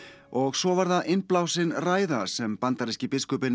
og svo var innblásin ræða sem bandaríski biskupinn